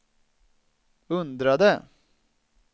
undrade